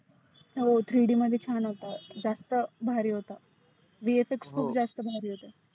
हो three D मध्ये छान होतं. जास्त भारी होता. BFX खुप जास्त भारी होतंं.